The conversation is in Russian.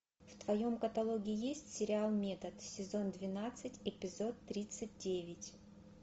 в твоем каталоге есть сериал метод сезон двенадцать эпизод тридцать девять